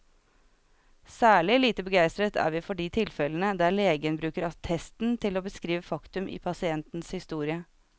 Særlig lite begeistret er vi for de tilfellene der legen bruker attesten til å beskrive faktum i pasientens historie.